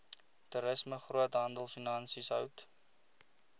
toerisme groothandelfinansies hout